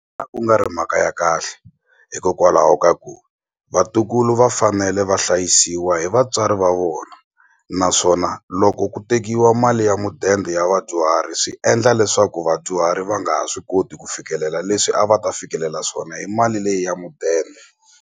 A ku nga ri mhaka ya kahle hikokwalaho ka ku vatukulu va fanele va hlayisiwa hi vatswari va vona naswona loko ku tekiwa mali ya mudende ya vadyuhari swi endla leswaku vadyuhari va nga ha swi koti ku fikelela leswi a va ta fikelela swona hi mali leyi ya mudende.